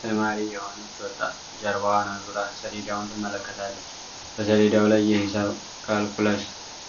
ተማሪ የሆነች ወጣት ጀርባዋን አዙራ ሰሌዳውን ትመለከታለች። በሰሌዳው ላይ የሂሳብ (ካልኩለስ)